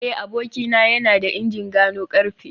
eh abokina yana da injin gano karfe